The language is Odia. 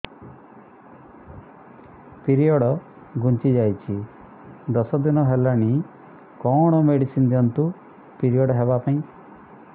ପିରିଅଡ଼ ଘୁଞ୍ଚି ଯାଇଛି ଦଶ ଦିନ ହେଲାଣି କଅଣ ମେଡିସିନ ଦିଅନ୍ତୁ ପିରିଅଡ଼ ହଵା ପାଈଁ